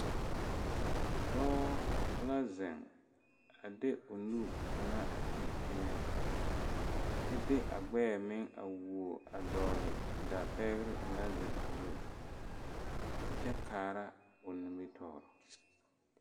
Dɔɔ la zeŋ a de o nu kaŋa a ti teŋa kyɛ de a gbɛɛ meŋ a who a dɔgele dapɛɛ o naŋ zeŋ zu a kyɛ kaara o nimitɔɔre